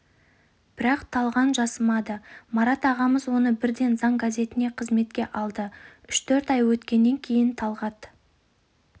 бірақ талған жасымады марат ағамыз оны бірден заң газетіне қызметке алды үш-төрт ай өткеннен кейін талғат